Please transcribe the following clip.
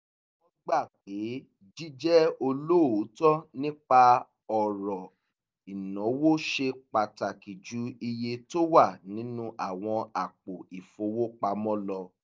wọ́n gbà pé jíjẹ́ olóòótọ́ nípa ọ̀rọ̀ ìnáwó ṣe pàtàkì ju iye tó wà nínú àwọn àpò ìfowópamọ́ lọ